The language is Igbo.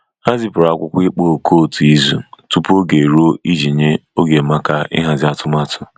Ha zipụrụ akwụkwọ ịkpọ òkù otu izu tupu oge eruo iji nye oge maka ịhazi atumatu.